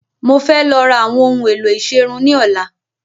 Mo fẹ́ lọ ra àwọn ohun ìsẹrun ni ọ̀la